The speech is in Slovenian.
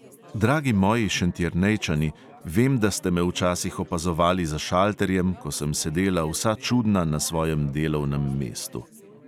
Dragi moji šentjernejčani, vem, da ste me včasih opazovali za šalterjem, ko sem sedela vsa čudna na svojem delovnem mestu.